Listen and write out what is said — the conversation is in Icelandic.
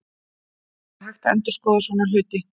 Það er hægt að endurskoða svona hluti.